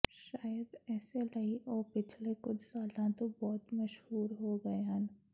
ਸ਼ਾਇਦ ਇਸੇ ਲਈ ਉਹ ਪਿਛਲੇ ਕੁਝ ਸਾਲਾਂ ਤੋਂ ਬਹੁਤ ਮਸ਼ਹੂਰ ਹੋ ਗਏ ਹਨ